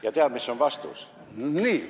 Ja tead, mis on vastus?